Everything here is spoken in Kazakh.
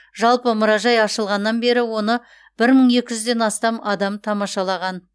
жалпы мұражай ашылғаннан бері оны бір мың екі жүзден астам адам тамашалаған